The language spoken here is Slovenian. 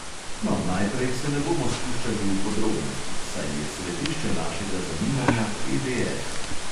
No, naprej se ne bomo spuščali v podrobnosti, saj je središče našega zanimanja PDF.